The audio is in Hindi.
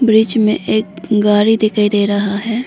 बीच में एक गाड़ी दिखाई दे रहा है।